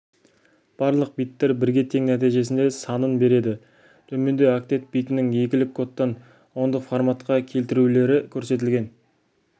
барлық биттер бірге тең нәтижесінде санын береді төменде октет битінің екілік кодтан ондық форматқа келтірулері көрсетілген